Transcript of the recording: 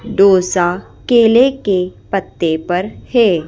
डोसा केले के पत्ते पर है।